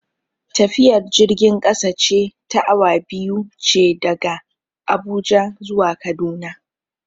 Tafiyar jirgin kasa ce ta awa biyu ce daga Abuja zuwa Kaduna.